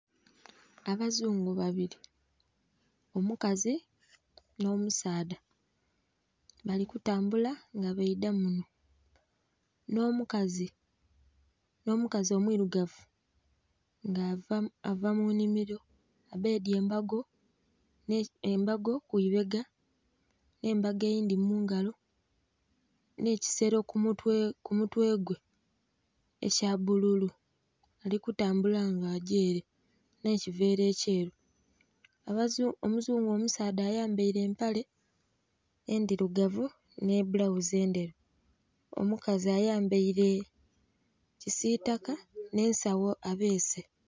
Abazungu babili omukazi nh'omusaadha, bali kutambula nga baidha munho, nh'omukazi omwirugavu nga ava mu nnhimiro abbedye embago ku ibega nh'embago eyindhi mu ngalo nh'ekisero ku mutwe gwe ekya bbululu. Ali kutambula nga agy'ere nh'ekiveera ekyeru. Omuzungu omusaadha ayambaire empale endhirugavu nh'ebbulaghuzi endheru, omukazi ayambaire kisiitaka nh'esagho abeese.